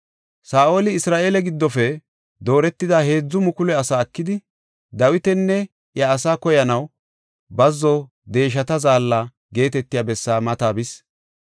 Saa7oli Isra7eele giddofe dooretida heedzu mukulu asaa ekidi, Dawitanne iya asaa koyanaw, “Bazzo Deeshata Zaalla” geetetiya bessaa mata bis.